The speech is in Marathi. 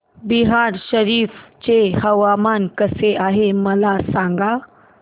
बिहार शरीफ चे हवामान कसे आहे मला सांगा